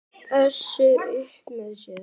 Össur upp með sér.